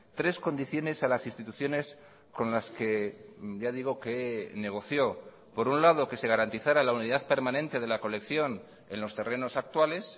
tres condiciones a las instituciones con las que ya digo que negoció por un lado que se garantizara la unidad permanente de la colección en los terrenos actuales